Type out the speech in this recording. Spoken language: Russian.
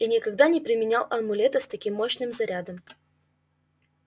и никогда не применял амулета с таким мощным зарядом